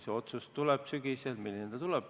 See otsus tuleb sügisel ja me ei tea, milline see tuleb.